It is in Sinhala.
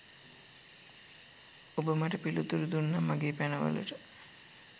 ඔබ මට පිළිතුරු දුන්නා මගේ පැනවලට.